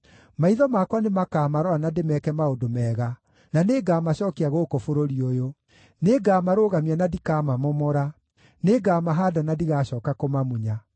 Maitho makwa nĩmakamarora na ndĩmeeke maũndũ mega, na nĩngamacookia gũkũ bũrũri ũyũ. Nĩngamarũgamia na ndikamamomora; nĩngamahaanda na ndigacooka kũmamunya.